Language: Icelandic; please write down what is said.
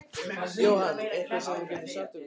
Jóhann: Eitthvað sem þú getur sagt okkur frá?